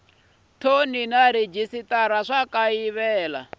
thoni na rhejisitara swi kayivela